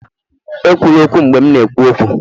Ekwula okwu, mgbe m na-ekwu okwu!